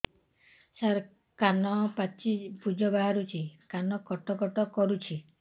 ସାର କାନ ପାଚି ପୂଜ ବାହାରୁଛି କାନ କଟ କଟ କରୁଛି